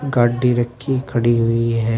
गाडी रखी खड़ी हुई है।